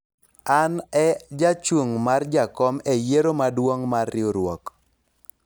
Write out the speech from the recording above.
an e jachung' mar jakom e yiero maduong' mar riwruok